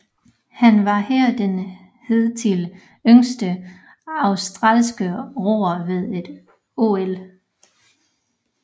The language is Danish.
Han var her den hidtil yngste australske roer ved et OL